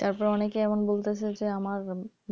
তারপর অনেকেই বলতেছে যে আমার